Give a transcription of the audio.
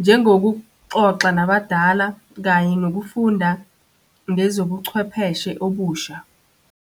Njengokuxoxa nabadala kanye nokufunda ngezobuchwepheshe obusha.